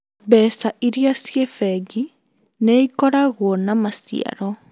Mbeca iria ciĩ bengi nĩikoragwo na maciaro